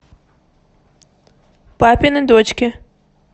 папины дочки